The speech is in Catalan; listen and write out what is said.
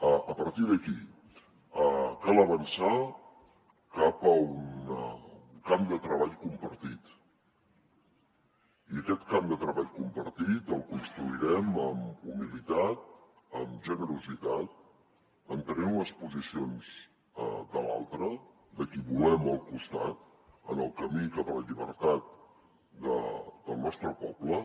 a partir d’aquí cal avançar cap a un camp de treball compartit i aquest camp de treball compartit el construirem amb humilitat amb generositat entenent les posicions de l’altre de qui volem al costat en el camí cap a la llibertat del nostre poble